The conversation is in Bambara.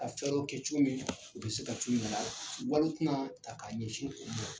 Ka kɛ cogo min u bɛ se ka co na la wali kuma ka ta k'a ɲɛsin o ma.